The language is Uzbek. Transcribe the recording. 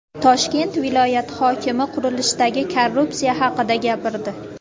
Toshkent viloyati hokimi qurilishdagi korrupsiya haqida gapirdi.